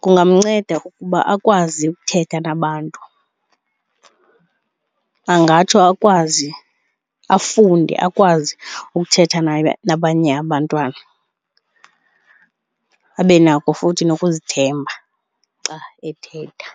kungamnceda ukuba akwazi ukuthetha nabantu. Angatsho akwazi, afunde akwazi ukuthetha nabanye abantwana, abe nako futhi nokuzithemba xa ethetha.